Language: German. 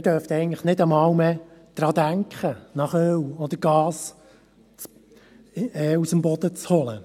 Eigentlich dürften wir in Anbetracht der jetzigen Situation gar nicht mehr daran denken, Öl oder Gas aus dem Boden zu holen.